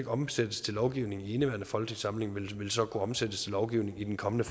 omsættes til lovgivning i indeværende folketingssamling men vil så kunne omsættes til lovgivning i den kommende